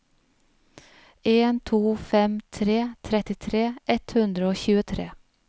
en to fem tre trettitre ett hundre og tjuetre